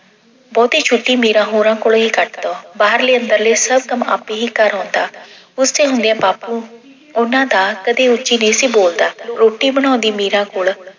ਬਹੁਤੀ ਛੁੱਟੀ ਮੀਰਾਂ ਹੋਰਾਂ ਕੋਲੇ ਹੀ ਕੱਟਦਾ। ਬਾਹਰਲੇ ਅੰਦਰਲੇ ਸਭ ਕੰਮ ਆਪੇ ਹੀ ਕਰ ਆਉਂਦਾ। ਉਸਦੇ ਹੁੰਦਿਆਂ ਬਾਪੂ ਉਹਨਾਂ ਦਾ ਕਦੀ ਉੱਚੀ ਨਹੀਂ ਸੀ ਬੋਲਦਾ। ਰੋਟੀ ਬਣਾਉਂਦੀ ਮੀਰਾ ਕੋਲ